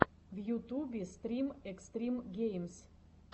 в ютубе стрим экстрим геймз